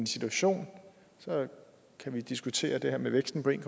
situation så kan vi diskutere det her med væksten på en